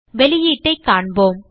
வெளியீட்டைக் காண்போம்